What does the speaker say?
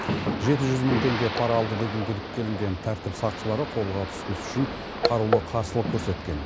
жеті жүз мың теңге пара алды деген күдікке ілінген тәртіп сақшылары қолға түспес үшін қарулы қарсылық көрсеткен